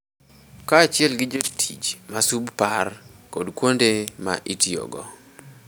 Kaachiel gi jotich ma subpar kod kuonde ma itiyogo.